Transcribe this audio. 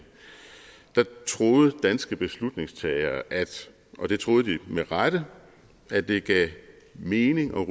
troede danske beslutningstagere og det troede de med rette at det gav mening at